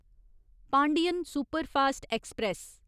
Pandian superfast express